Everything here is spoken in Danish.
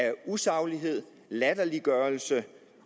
af usaglighed latterliggørelse